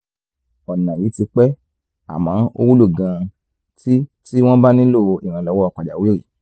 ọ̀nà yìí ti pẹ́ àmọ́ ó wúlò gan-an tí tí wọ́n bá nílò ìrànlọ́wọ́ pàjáwìrì